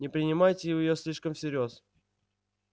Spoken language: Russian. не принимайте её слишком всерьёз